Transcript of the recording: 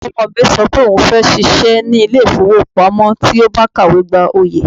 Ọmọ mi sọ pé òun fẹ́ ṣiṣẹ́ ní ilé ìfowópamọ́ tí ó bá ti kàwé gboyè.